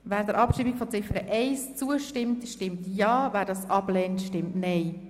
Wer der Abschreibung von Ziffer 1 zustimmt, stimmt Ja, wer diese ablehnt, stimmt Nein.